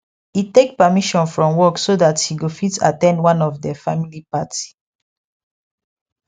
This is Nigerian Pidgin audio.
e take permission from work so that he go fit at ten d one of der family party